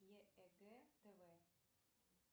егэ тв